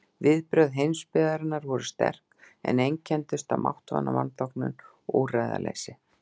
Viðbrögð heimsbyggðarinnar voru sterk, en einkenndust af máttvana vanþóknun og úrræðaleysi.